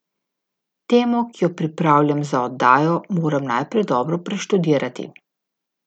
Temo, ki jo pripravljam za oddajo, moram najprej dobro preštudirati.